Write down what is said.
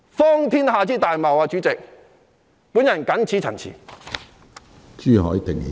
主席，這是荒天下之大謬，我謹此陳辭。